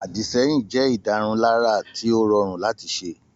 Àdìsẹ́yìn jẹ́ ìdárunlárà tí ó rọrùn láti ṣe